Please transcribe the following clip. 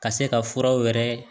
Ka se ka furaw yɛrɛ